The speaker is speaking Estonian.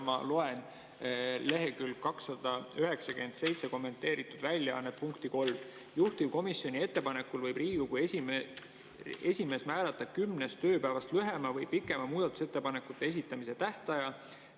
Ma loen kommenteeritud väljaande leheküljel 297 punkti 3: "Juhtivkomisjoni ettepanekul võib Riigikogu esimees määrata kümnest tööpäevast lühema või pikema muudatusettepanekute esitamise tähtaja.